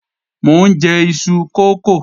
Mò ń jẹ iṣu kókò